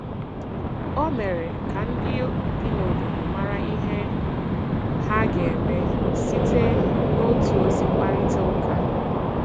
Ọ mere ka ndị bi n’obodo marà ihe ha ga-eme site n’otu ozi mkparịta ụka.